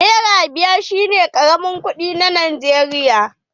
Nera biyar shi ne karamin kuɗi na Najeriya.